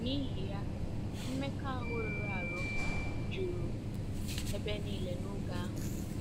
N'ihi ya, mmekọahụ rụrụ arụ juru ebe nile n'oge ahụ.